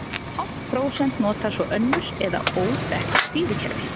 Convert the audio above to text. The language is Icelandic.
Hálft prósent notar svo önnur eða óþekkt stýrikerfi.